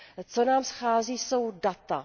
Co nám schází, jsou data.